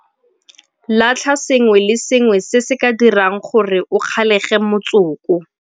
Latlha sengwe le sengwe se se ka dirang gore o kgalege motsoko.